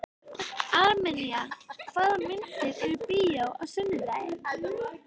Armenía, hvaða myndir eru í bíó á sunnudaginn?